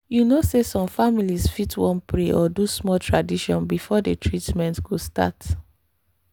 you know say some families fit wan pray or do small tradition before the treatment go start.